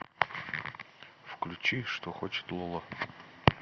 включи что хочет лола